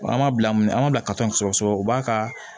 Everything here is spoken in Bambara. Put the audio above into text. An m'a bila an ma bila ka taa sɔgɔsɔgɔ u b'a ka